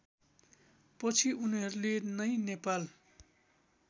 पछि उनीहरूले नै नेपाल